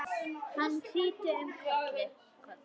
Hann hnyti um koll!